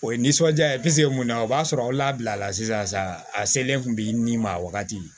O ye nisɔndiya ye pisike mun na o b'a sɔrɔ aw labilala sisan a selen kun bi ni ma wagati